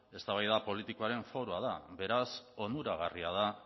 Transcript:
eztabaida politikoaren foroa da beraz onuragarria da